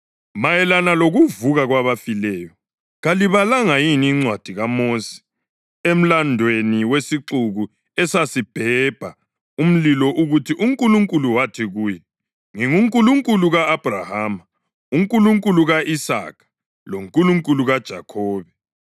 Mayelana lokuvuka kwabafileyo, kalibalanga yini encwadini kaMosi, emlandweni wesixuku esasibhebha umlilo ukuthi uNkulunkulu wathi kuye, ‘NginguNkulunkulu ka-Abhrahama, uNkulunkulu ka-Isaka loNkulunkulu kaJakhobe’ + 12.26 U-Eksodasi 3.6 ?